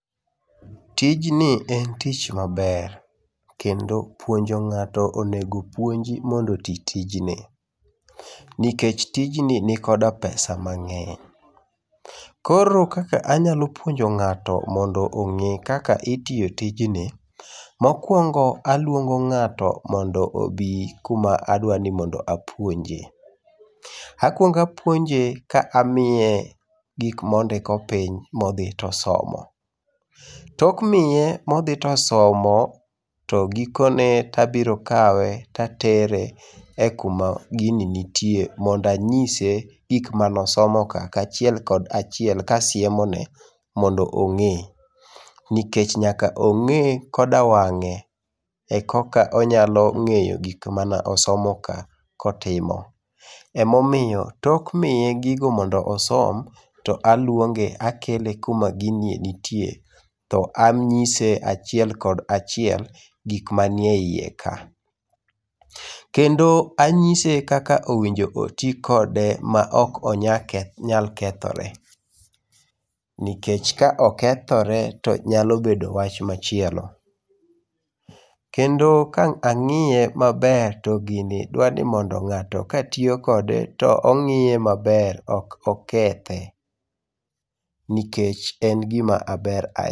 Tijni en tich maber. Kendo puonjo ng'ato onego puonji mondo oti tijni. Nikech tijni nikoda pesa mang'eny. Koro kaka anyalo puonjo ng'ato mondo ong'e kaka itiyo tijni, mokuongo aluongo ng'ato mondo obi kuma adwa ni mondo apuonjee. Akuongo apuonje ka amiye gik mondiko piny, modhi tosomo. Tok miye modhi tosomo, to gikone tabiro kawe tatere e kuma gini nitier mondo anyise gik manosomo ka achiel kachiel mondo ong'e. Nikech nyaka ong'e koda wang'e ekoka onyalo ng'eyo gik mane osomo kaa kotimu, Emomiyo tok miye gigo mondo osom, to aluonge, akele kuma gini nitie to anyise achiel kod achiel gik manieiye kanyo. Kendo anyise kaka owinjo oti kode maok onyal kethore, nikech ka okethore to nyalo bedo wach machielo. Kendo ka ang'iye maber to gini dwa ni mondo ng'ato katiyo kode , to ong'iye maber ok okethe, nikech en gima ber ahi..